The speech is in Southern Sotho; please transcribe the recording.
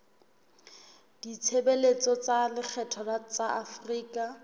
ditshebeletso tsa lekgetho tsa afrika